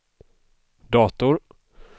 dator